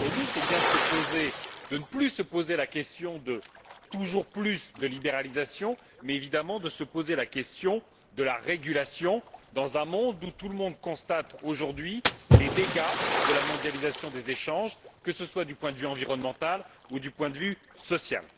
est bien de ne plus se poser la question du toujours plus de libéralisation, mais évidemment de se poser celle de la régulation, dans un monde où nous constatons tous aujourd'hui les dégâts de la mondialisation des échanges, que ce soit du point de vue environnemental ou du point de vue social.